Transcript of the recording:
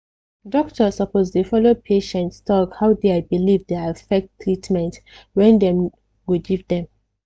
doctor suppose de follow patients talk how dia believe de affect tratement wen dem go give dem